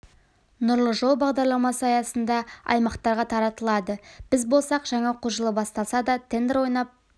нұрлы жол бағдарламасы аясында аймақтарға таратылады біз болсақ жаңа оқу жылы басталса да тендер ойнап